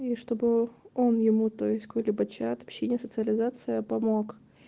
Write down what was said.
и чтобы он ему то есть какой-нибудь чат общения социализация помог